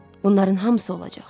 Bunların hamısı olacaq.